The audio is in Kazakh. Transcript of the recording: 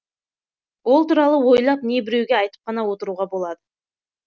ол туралы ойлап не біреуге айтып қана отыруға болады